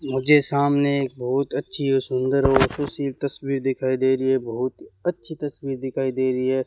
मुझे सामने एक बहुत अच्छी और सुंदर ऑफिस की तस्वीर दिखाई दे रही है बहुत अच्छी तस्वीर दिखाई दे रही है।